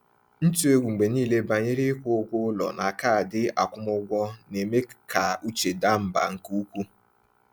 Ntụ egwu mgbe niile banyere ịkwụ ụgwọ ụlọ na kaadị akwụmụgwọ na-eme ka uche daa mbà nke ukwuu.